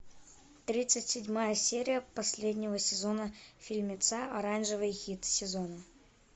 тридцать седьмая серия последнего сезона фильмеца оранжевый хит сезона